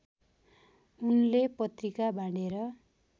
उनले पत्रिका बाँडेर